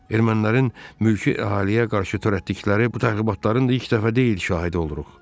Ermənilərin mülki əhaliyə qarşı törətdikləri bu təxribatların da ilk dəfə deyil şahidi oluruq.